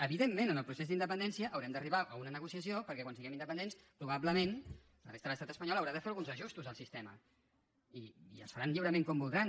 evidentment en el procés d’independència haurem d’arribar a una negociació perquè quan siguem independents probablement la resta de l’estat espanyol haurà de fer alguns ajustos al sistema i els faran lliurement com voldran